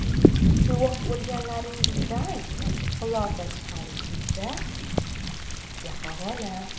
Guvoh bo‘lganlaringizdan xulosa chiqarish esa sizga havola.